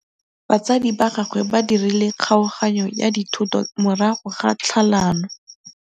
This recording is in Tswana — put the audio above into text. Batsadi ba gagwe ba dirile kgaoganyô ya dithoto morago ga tlhalanô.